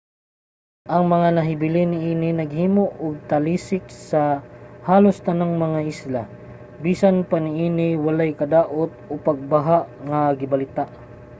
ang mga nahibilin niini naghimo og talisik sa halos tanang mga isla. bisan pa niini walay kadaot o pagbaha nga gibalita